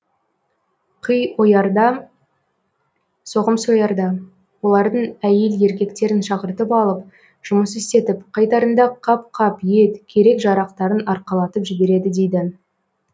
қый оярда соғым соярда олардың әйел еркектерін шақыртып алып жұмыс істетіп қайтарында қап қап ет керек жарақтарын арқалатып жібереді дейді